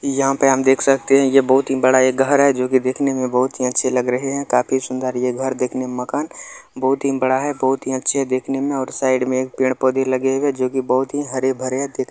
यहां पे हम देख सकते है ये बहुत ही बड़ा एक घर है जो कि देखने में बहुत ही अच्छे लग रहे है काफी सुंदर ये घर देखने में मकान बहुत ही बड़ा है बहुत ही अच्छे देखने में और साइड में एक पेड़-पौधे लगे हुए है जो कि बहुत ही हरे-भरे है देखने --